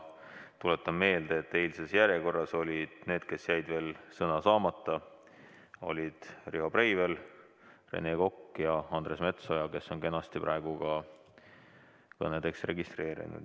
Tuletan meelde, et järjekorras on need, kellel jäi eile sõna saamata, need on Riho Breivel, Rene Kokk ja Andres Metsoja, kes on kenasti praegu ka kõnedeks registreerunud.